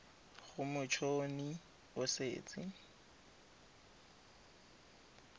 gore mot honi o setse